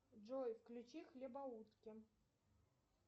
джой включи хлебоутки